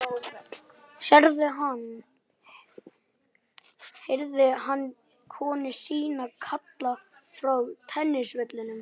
Sérðu hann? heyrði hann konu sína kalla frá tennisvellinum.